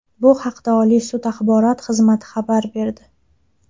Bu haqda Oliy sud axborot xizmati xabar berdi .